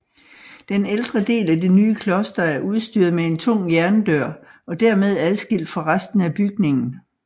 Den ældre del af det nye kloster er udstyret med en tung jerndør og dermed adskilt fra resten af bygningen